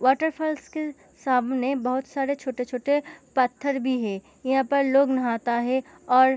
waterfalls के सामने बहुत सारे छोटे-छोटे पत्थर भी हैं यहाँ पर लोग नहाता है और --